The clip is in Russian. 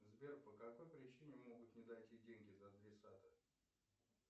сбер по какой причине могут не дойти деньги до адресата